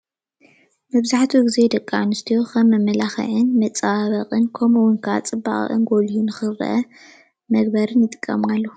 መብዛሕትኡ ግዜ ደቂ ኣንስትዮ ከም መመላክዕን መፀባብቅን ኮይኑ ከመኡ እውን ክዓ ፅባቅአን ጎሊሁ ንክርአ መግበርን ይጥቀማሉ።